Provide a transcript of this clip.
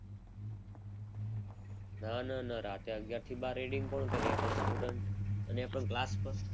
ના ના ના રાત્રે અગિયાર થી બાર reading કોણ કરે? પણ student અને એ પણ ક્લાસમાં